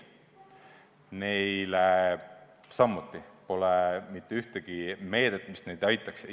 Neile samuti pole mitte ühtegi meedet, mis neid aitaks.